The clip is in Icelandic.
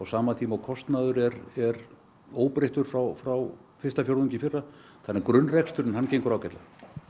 sama tíma og kostnaður er er óbreyttur frá frá fyrsta fjórðungi í fyrra þannig að grunnreksturinn hann gengur ágætlega